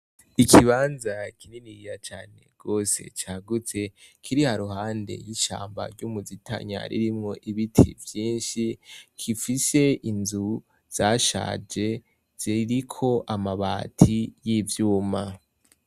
Ikibanza kininiriya cane rwose cagutse kiri haruhande y'ishamba ry'umuzitanyaririmwo ibiti vyinshi kifise inzu zashaje ziriko amabati y'ivyuma.